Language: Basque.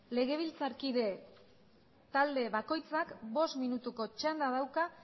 legebiltzarkide talde bakoitzak bost minutuko txanda dauka